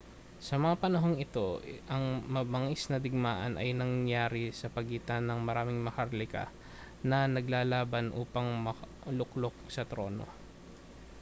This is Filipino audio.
sa mga panahong ito ang mabangis na digmaan ay nangyari sa pagitan ng maraming maharlika na naglalaban upang maluklok sa trono